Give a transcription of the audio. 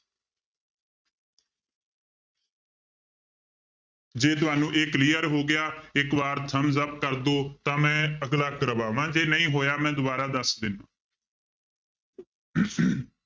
ਜੇ ਤੁਹਾਨੂੰ ਇਹ clear ਹੋ ਗਿਆ ਇੱਕ ਵਾਰ thumbs up ਕਰ ਦਓ ਤਾਂ ਮੈਂ ਅਗਲਾ ਕਰਵਾਵਾਂ ਜੇ ਨਹੀਂ ਹੋਇਆ ਮੈਂ ਦੁਬਾਰਾ ਦੱਸ ਦਿਨਾ